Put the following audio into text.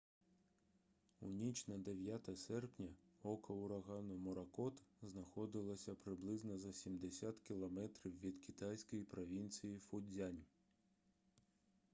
у ніч на 9 серпня око урагану моракот знаходилося приблизно за сімдесят кілометрів від китайської провінції фуцзянь